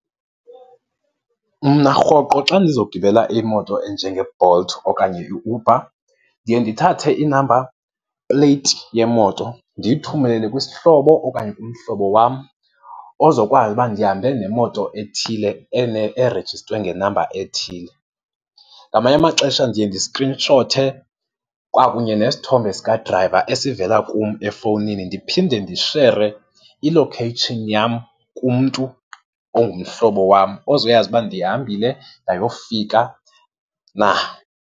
Mna rhoqo xa ndizogibela imoto enjengeBolt okanye iUber ndiye ndithathe i-number plate yemoto ndiyithumelele kwisihlobo okanye umhlobo wam ozokwazi uba ndihambe nemoto ethile, erejistwe ngenamba ethile. Ngamanye amaxesha ndiye ndiskrinshothe kwakunye nesithombe sikadrayiva esivela kum efowunini. Ndiphinde ndishere i-location yam kumntu ongumhlobo wam ozoyazi uba ndihambile ndiyofika na.